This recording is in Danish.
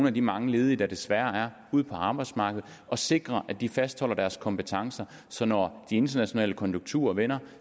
af de mange ledige der desværre er ud på arbejdsmarkedet og sikre at de fastholder deres kompetencer så når de internationale konjunkturer vender